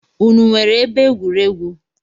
Unu nwere ebe egwuregwu?